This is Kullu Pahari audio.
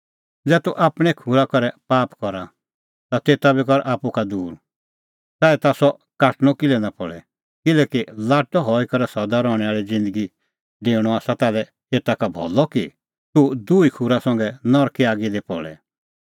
ज़ै तूह आपणैं खूरा करै पाप करा ता तेता बी कर आप्पू का दूर च़ाऐ ताह सह काटणअ किल्है निं पल़े किल्हैकि लाट्टअ हई करै सदा रहणैं आल़ी ज़िन्दगी दी डेऊणअ आसा ताल्है एता का भलअ कि तूह दुही खूरा संघै नरके आगी दी पल़े